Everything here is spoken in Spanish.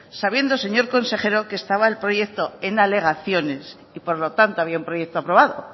sabiendo señor consejero que estaba el proyecto en alegaciones y por lo tanto había un proyecto aprobado